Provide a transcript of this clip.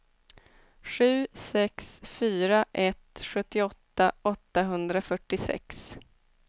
sju sex fyra ett sjuttioåtta åttahundrafyrtiosex